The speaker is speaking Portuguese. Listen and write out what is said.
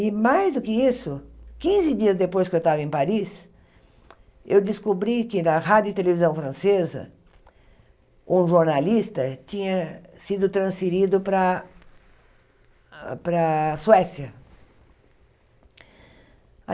E mais do que isso, quinze dias depois que eu estava em Paris, eu descobri que na rádio e televisão francesa, um jornalista tinha sido transferido para a para a Suécia.